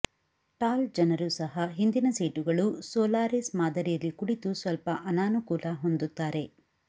tall ಜನರು ಸಹ ಹಿಂದಿನ ಸೀಟುಗಳು ಸೋಲಾರಿಸ್ ಮಾದರಿಯಲ್ಲಿ ಕುಳಿತು ಸ್ವಲ್ಪ ಅನಾನುಕೂಲ ಹೊಂದುತ್ತಾರೆ